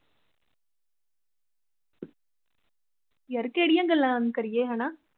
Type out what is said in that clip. ਫਿਰ ਕਿਹੜੀਆਂ ਗੱਲਾਂ ਕਰੀਏ ਹਨਾ।